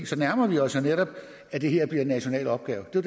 så nærmer vi os jo netop at det her bliver en national opgave det